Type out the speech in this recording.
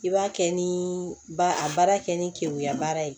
I b'a kɛ ni ba a baara kɛ ni keguya baara ye